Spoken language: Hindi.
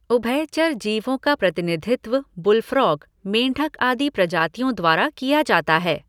उभयचर जीवों का प्रतिनिधित्व बुलफ्रॉग, मेंढक आदि प्रजातियों द्वारा किया जाता है।